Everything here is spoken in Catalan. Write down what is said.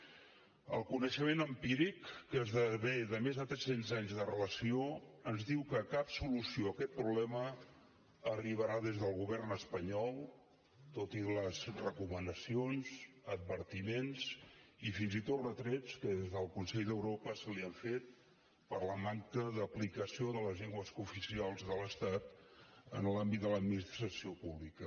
el coneixement empíric que esdevé de més de tres cents anys de relació ens diu que cap solució a aquest problema arribarà des del govern espanyol tot i les recomanacions advertiments i fins i tot retrets que des del consell d’europa se li han fet per la manca d’aplicació de les llengües cooficials de l’estat en l’àmbit de l’administració pública